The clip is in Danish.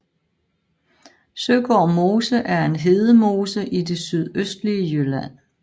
Søgård Mose er en hedemose i det sydøstlige Jylland